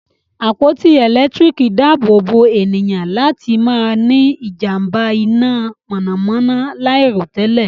àpótí elekitiriki daabobo ènìyàn láti má ní ijamba iná mọnamọna lairotẹlẹ.